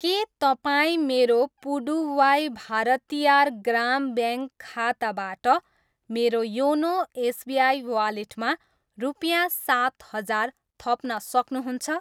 के तपाईँ मेरो पुडुवाई भारतियार ग्राम ब्याङ्क खाताबाट मेरो योनो एसबिआई वालेटमा रुपियाँ सात हजार थप्न सक्नुहुन्छ?